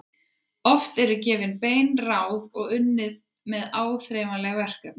Oft eru gefin bein ráð og unnið með áþreifanleg verkefni.